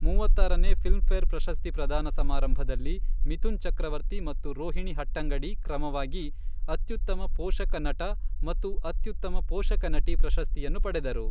ಮೂವತ್ತಾರನೇ ಫಿಲ್ಮ್ಫೇರ್ ಪ್ರಶಸ್ತಿ ಪ್ರದಾನ ಸಮಾರಂಭದಲ್ಲಿ, ಮಿಥುನ್ ಚಕ್ರವರ್ತಿ ಮತ್ತು ರೋಹಿಣಿ ಹಟ್ಟಂಗಡಿ ಕ್ರಮವಾಗಿ ಅತ್ಯುತ್ತಮ ಪೋಷಕ ನಟ ಮತ್ತು ಅತ್ಯುತ್ತಮ ಪೋಷಕ ನಟಿ ಪ್ರಶಸ್ತಿಯನ್ನು ಪಡೆದರು.